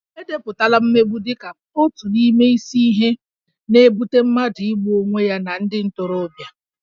E depụtala mmegbu dị ka otu n'ime isi ihe na-ebute mmadụ igbu onwe ya na ndị ntorobịa